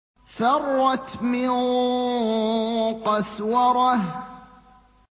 فَرَّتْ مِن قَسْوَرَةٍ